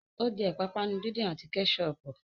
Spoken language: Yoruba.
Ó jẹ́ ìpápánu díndín àti Kẹ́ṣọpù